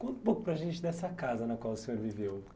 Conta um pouco para gente dessa casa na qual o senhor viveu.